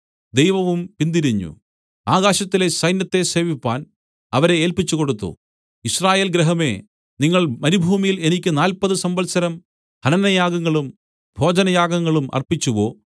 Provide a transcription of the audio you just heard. ദൈവവും പിന്തിരിഞ്ഞു ആകാശത്തിലെ സൈന്യത്തെ സേവിപ്പാൻ അവരെ ഏല്പിച്ചുകൊടുത്തു യിസ്രായേൽ ഗൃഹമേ നിങ്ങൾ മരുഭൂമിയിൽ എനിക്ക് നാല്പത് സംവത്സരം ഹനനയാഗങ്ങളും ഭോജനയാഗങ്ങളും അർപ്പിച്ചുവോ